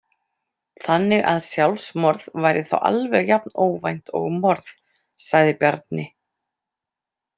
Þannig að sjálfsmorð væri þá alveg jafn óvænt og morð, sagði Bjarni.